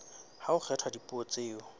ha ho kgethwa dipuo tseo